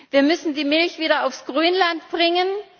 Wir müssen die Milch wieder aufs Grünland bringen.